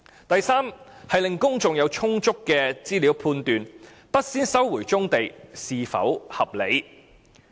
第三，令公眾有充足的資料判斷不先收回棕地是否合理。